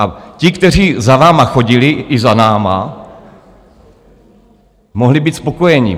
A ti, kteří za vámi chodili, i za námi, mohli být spokojeni.